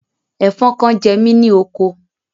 Ẹ̀fọn kan jẹ mí ní oko.